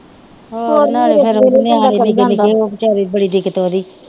ਹੋਰ ਨਾਲੇ ਫਿਰ ਨਿਆਣੇ ਨਿੱਕੇ ਨਿੱਕੇ ਆ ਉਹ ਵਿਚਾਰੇ ਨੂੰ ਬੜੀ ਦਿੱਕਤ ਆਉਂਦੀ।